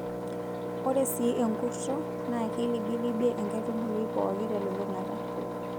Ore sii enkurto naa keilibilibie enkaitubului pooki telulung'ata.